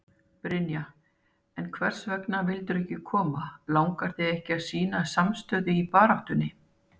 Brynja: En hvers vegna vildirðu ekki koma, langar þig ekki að sýna samstöðu í baráttunni?